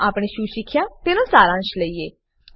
ચાલો આપણે શું શીખ્યા તેનો સારાંશ લયીએ